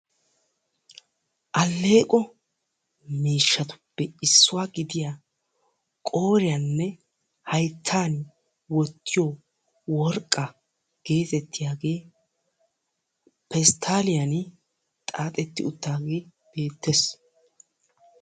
Alleeqqo miishshatuppe issuwa gidiya qooriyanne hayttan wottiyo worqaa geetettiyaage pestaaliyan xaaxettidi utaagge betees,